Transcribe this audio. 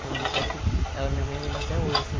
Foi um dia até que ela... Minha mãe lembra até hoje assim.